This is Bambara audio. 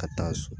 Ka taa so